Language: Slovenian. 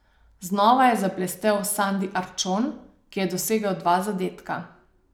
Znova je zablestel Sandi Arčon, ki je dosegel dva zadetka.